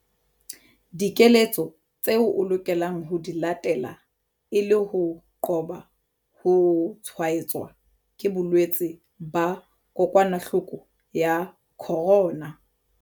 Dikeletso tseo o lokelang ho di latela e le ho qoba ho tshwaetswa ke bolwetse ba kokwanahloko ya corona.